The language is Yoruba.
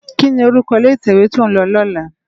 Kini órúkò ilé itèwé tó n lò lòlá?